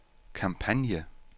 kampagne